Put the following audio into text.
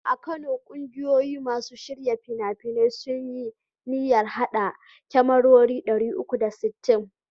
A Kano, gungun masu shirya fina-finai sun yi niyyar haɗa kyamarori 360.